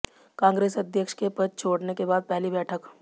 कांग्रेस अध्यक्ष के पद छोड़ने के बाद पहली बैठक